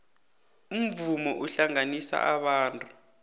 umvumo uhlanganisa abantu